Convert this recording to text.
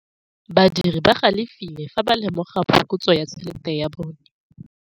Badiri ba galefile fa ba lemoga phokotsô ya tšhelête ya bone.